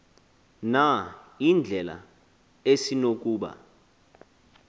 na indlela esinokuba